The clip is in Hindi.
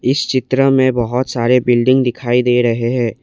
इस चित्र में बहोत सारे बिल्डिंग दिखाई दे रहे हैं।